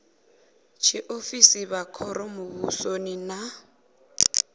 tshiofisi vha khoro muvhusoni na